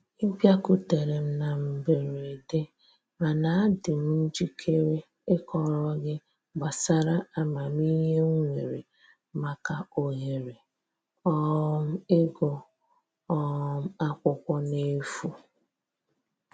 Ị bịakutere m m na mberede mana adị m njikere ịkọrọ gị gbasara amamihe m nwere maka ohere um ịgụ um akwụkwọ n'efu